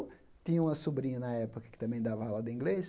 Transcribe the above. Tinha uma sobrinha na época que também dava aula de inglês.